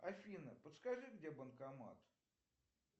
афина подскажи где банкомат